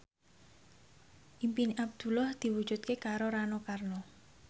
impine Abdullah diwujudke karo Rano Karno